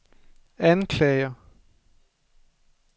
anklager